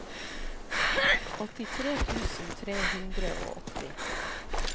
åttitre tusen tre hundre og åtti